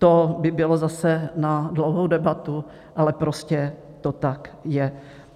To by bylo zase na dlouhou debatu, ale prostě to tak je.